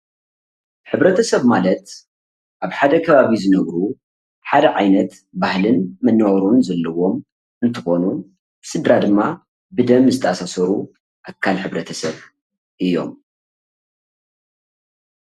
ሕብረተሰብ ማለት አብ ሓደ ከባቢ ዝነብሩ ሓደ ዓይነት ባህሊ መናባብሮን ዘሎዎም እንትኮኑ ስድራ ደማ ብደም ዝተኣሳሰሩ ኣካል ሕብረተሰብ እዮም